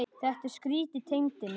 Þetta er skrýtið Tengdi minn.